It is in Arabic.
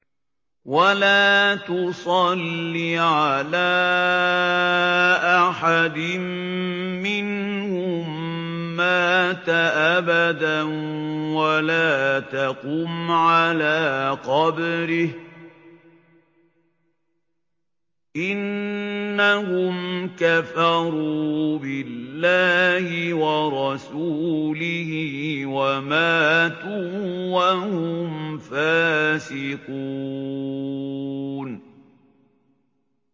وَلَا تُصَلِّ عَلَىٰ أَحَدٍ مِّنْهُم مَّاتَ أَبَدًا وَلَا تَقُمْ عَلَىٰ قَبْرِهِ ۖ إِنَّهُمْ كَفَرُوا بِاللَّهِ وَرَسُولِهِ وَمَاتُوا وَهُمْ فَاسِقُونَ